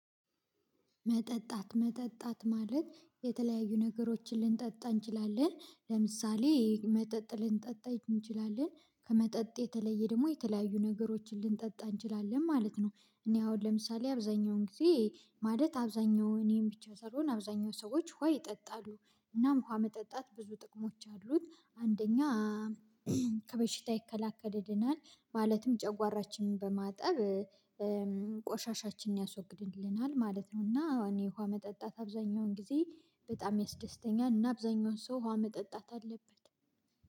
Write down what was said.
መጠጣት መጠጣት ማለት የተለያዩ ነገሮችን ልንጠጣ እንችላለን ለምሳሌ መጠጥ ልንጠጣ እንችላለን ከመጠጥ የተለየ ደግሞ የተለያዩ ነገሮችን ልንጠጣ እንችላለን ማለት ነው። እኔ አሁን ለምሳሌ አብዛኛውን ጊዜ ማለት አብዛኛው እኔን ብቻ ሳልሆን አብዛኛው ሰዎች ውሃ ይጠጣሉ። እናም ውሃ መጠጣት ብዙ ጥቅሞች አሉት። አንደኛ ከበሽታ ይከላከልልናል ማለትም ጨጓራችንን በማጠብ ቆሻሻችንን ያስወግድልናል ማለት ነው። እና እኔ ውሃ መጠጣት አብዛኛውን ጊዜ በጣም ያስደስተኛል። እና አብዛኛውን ሰው ውሃ መጠጣት አለበት።